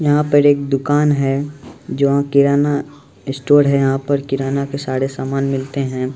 यहां पर एक दुकान है जो किराना स्टोर हैयहां पर किराने के सारे सामान मिलते हैं ।